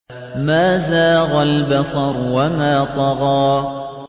مَا زَاغَ الْبَصَرُ وَمَا طَغَىٰ